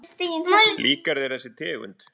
Líkar þér ekki þessi tegund?